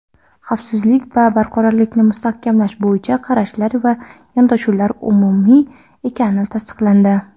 xavfsizlik va barqarorlikni mustahkamlash bo‘yicha qarashlar va yondashuvlar umumiy ekani tasdiqlandi.